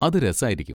അത് രസായിരിക്കും.